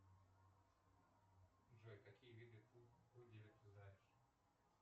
джой какие виды пуделя ты знаешь